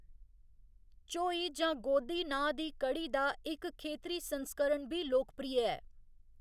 झोई जां गोदी नांऽ दी कढ़ी दा इक खेतरी संस्करण बी लोकप्रिय ऐ।